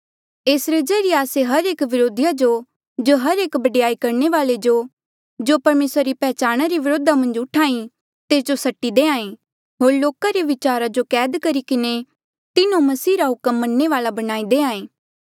एसरे ज्रीए आस्से हर एक व्रोधीया जो होर हर एक बडयाई करणे वाले जो जो परमेसरा री पैहचाणा रे व्रोधा मन्झ उठ्हा ई तेस जो सट्टी होर लोको रे विचार जो कैद करी किन्हें तिन्हो मसीह रा हुक्म मनणे वाल्आ बणाई देहां ऐें